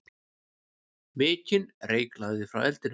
Mikinn reyk lagði frá eldinum.